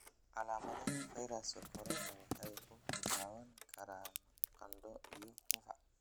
calaamadaha fayraska corona waxay ku bilaaban karaan qandho iyo qufac.